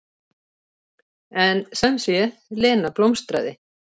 En sem sé, Lena blómstraði.